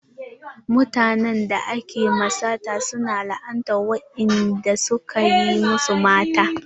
Mutanen da ake ma sata su na la'anta wanda suka yi masu mata.